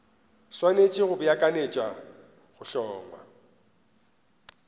swanetše go beakanyetša go hlongwa